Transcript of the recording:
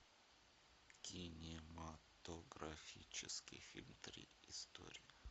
кинематографический фильм три истории